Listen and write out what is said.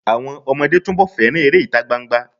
Àwọn ọmọdé túnbọ̀ fẹ́ràn eré ìtagbangba.